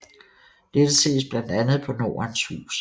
Dette ses blandt andet på Nordens Hus